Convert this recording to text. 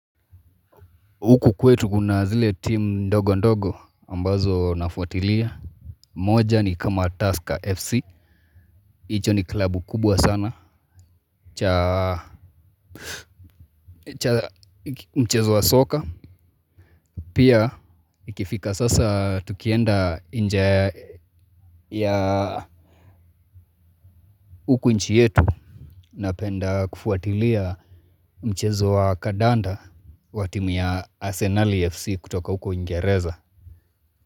Huku kwetu kuna zile team ndogo ndogo ambazo nafuatilia moja ni kama Tusker FC hicho ni klabu kubwa sana cha mchezo wa soka Pia ikifika sasa tukienda nje ya ya huku nchi yetu Napenda kufuatilia mchezo wa kandanda wa timu ya Arsenal FC kutoka huku uingereza.